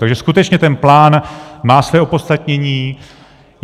Takže skutečně ten plán má své opodstatnění.